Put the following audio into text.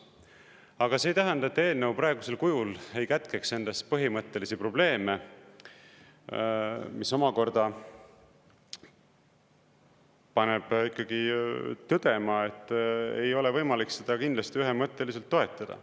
Aga see ei tähenda, et eelnõu praegusel kujul ei kätkeks endas põhimõttelisi probleeme, mis omakorda paneb ikkagi tõdema, et ei ole võimalik seda kindlasti ühemõtteliselt toetada.